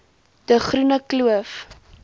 de groene kloof